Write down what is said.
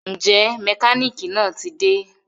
Njẹ mekaniki naa ti de?